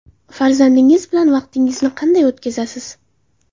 Farzandingiz bilan vaqtingizni qanday o‘tkazasiz?